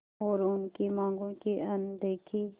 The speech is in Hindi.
और उनकी मांगों की अनदेखी